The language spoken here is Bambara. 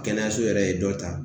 Kɛnɛyaso yɛrɛ ye dɔ ta